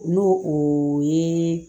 N'o o ye